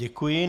Děkuji.